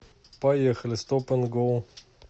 поехали стоп энд гоу